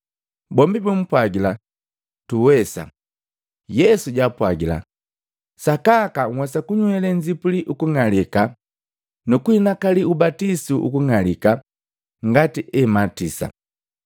Bombi bumpwagila, “Tuwesa.” Yesu jaapwagila, “Sakaka nhwesa kunywele nzipuli ukung'alika nukuhinakalii ubatisu ukung'alika ngati ebimatisa.